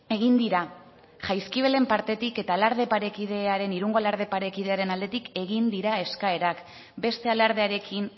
egin dira jaizkibelen partetik eta irungo alarde parekidearen aldetik egin dira eskaerak beste alardearekin